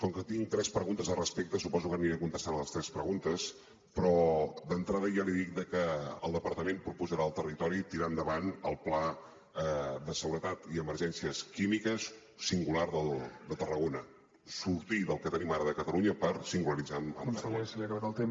com que tinc tres preguntes al respecte suposo que aniré contestant a les tres preguntes però d’entrada ja li dic que el departament proposarà al territori tirar endavant el pla de seguretat i emergències químiques singular de tarragona sortir del que tenim ara de catalunya per singularitzar amb tarragona